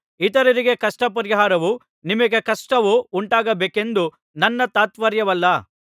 ಇತರರಿಗೆ ಕಷ್ಟಪರಿಹಾರವೂ ನಿಮಗೆ ಕಷ್ಟವೂ ಉಂಟಾಗಬೇಕೆಂದು ನನ್ನ ತಾತ್ಪರ್ಯವಲ್ಲ